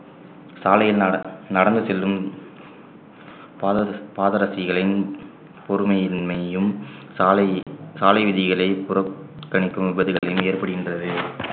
சாலையில் நட~ நடந்து செல்லும் பாத பாத ரசிகளின் பொறுமையின்மையையும் சாலை சாலை விதிகளை புற~ கணிக்கும் விபத்துகளும் ஏற்படுகின்றது